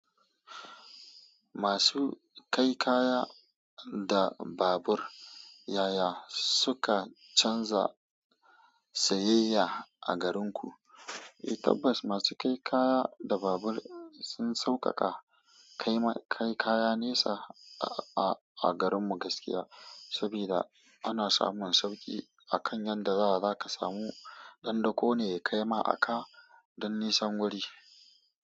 Masu kai kaya da babur yaya suka canza sayayya a garinku? Eh tabbas masu kai kaya da babur sun sauƙaƙa kai kaya nesa a garin mu gaskiya, sabida ana samun sauƙi akan yanda za ka samu ɗan dako ne ya kaima a ka don nisan guri.